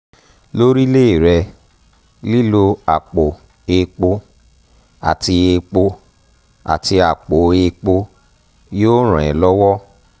lórílé rẹ lílo àpò èèpo àti èèpo àti àpò èèpo yóò ràn ẹ́ lọ́wọ́